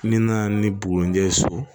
N'i nana ni bugunjɛ ye so